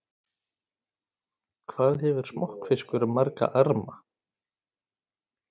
Hvað hefur smokkfiskur marga arma?